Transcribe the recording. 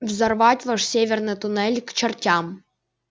взорвать ваш северный туннель к чертям